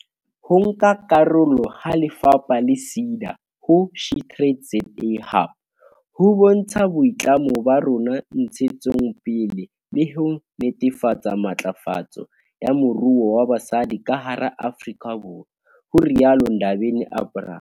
"Ho nka karolo ha lefapha le SEDA ho SheTradesZA Hub ho bontsha boitlamo ba rona ntshetsong pele le ho netefatsa matlafatso ya moruo wa basadi ka hara Afrika Borwa," ho rialo Ndabeni-Abrahams.